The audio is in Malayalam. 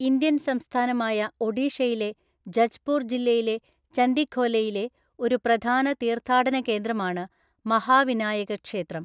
ഇന്ത്യൻ സംസ്ഥാനമായ ഒഡീഷയിലെ ജജ്പൂർ ജില്ലയിലെ ചന്ദിഖോലെയിലെ ഒരു പ്രധാന തീർത്ഥാടന കേന്ദ്രമാണ് മഹാവിനായക ക്ഷേത്രം.